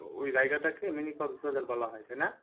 ওই জায়গাটাকে mini কক্স বাজার বলা হয় তাই না?